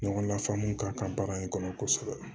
Ɲɔgɔnna faamu ka kɛ baara in kɔnɔ kosɛbɛ